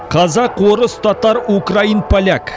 қазақ орыс татар украин поляк